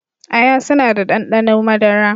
Aya suna da ɗanɗano madara